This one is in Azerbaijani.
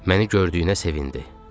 Məni gördüyünə sevindi.